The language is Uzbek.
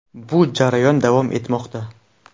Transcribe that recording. Bu jarayon davom etmoqda.